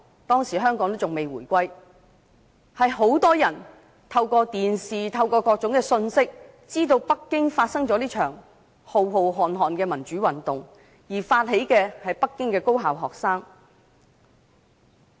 當時香港仍未回歸，很多人透過電視和各種信息，知道北京發生了這場浩瀚的民主運動，而發起運動的是北京的高校學生。